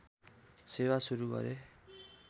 सेवा सुरु गरे